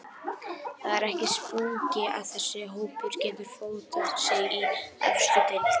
Það er ekki spurning að þessi hópur getur fótað sig í efstu deild.